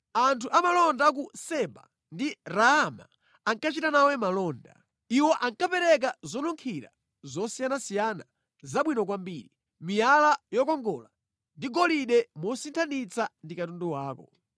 “Anthu amalonda a ku Seba ndi Raama ankachita nawe malonda. Iwo ankapereka zonunkhira zosiyanasiyana zabwino kwambiri, miyala yokongola ndi golide mosinthanitsa ndi katundu wako.